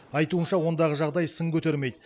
айтуынша ондағы жағдай сын көтермейді